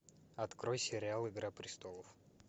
открой сериал игра престолов